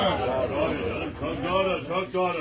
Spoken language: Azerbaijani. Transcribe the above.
Çok doğru, çok doğru.